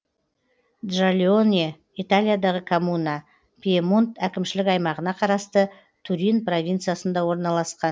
джальоне италиядағы коммуна пьемонт әкімшілік аймағына қарасты турин провинциясында орналасқан